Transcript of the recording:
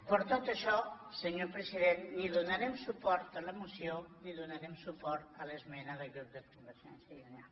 per tot això senyor president ni donarem suport a la moció ni donarem suport a l’esmena del grup de convergència i unió